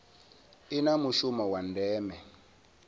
i na mushumo wa ndeme